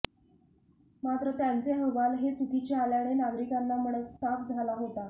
मात्र त्यांचे अहवाल हे चुकीचे आल्याने नागरिकांना मनस्ताप झाला होता